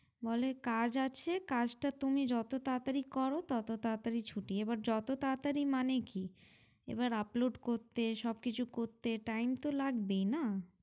বলে কাজ আছে কাজটা তুমি যত তাড়াতাড়ি করো তত তাড়াতাড়ি ছুটি এবার যত তাড়াতাড়ি মানে কি এবার upload করতে সবকিছু করতে time তো লাগবেই না